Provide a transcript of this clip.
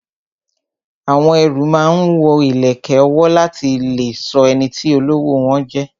Àwọn ẹrú máa ń wo ìlẹ̀kẹ̀ ọwọ́ láti lè sọ ẹniti olówó wọn jẹ